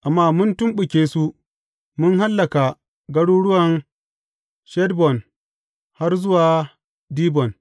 Amma mun tumɓuke su, mun hallaka garuruwan Heshbon har zuwa Dibon.